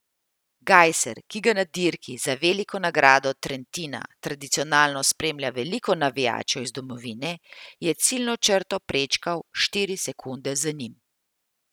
Gajser, ki ga na dirki za Veliko nagrado Trentina tradicionalno spremlja veliko navijačev iz domovine, je ciljno črto prečkal štiri sekunde za njim.